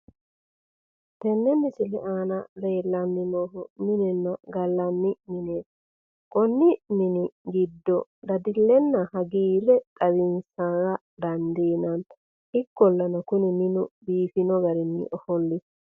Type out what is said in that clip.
tenne misile aana leellanni noohu minenna gallanni mineeti. konni mini giddo dadallenna hagiirre xawinsara dandiinanni ikollana kuni minu biifanno garinni ofollino.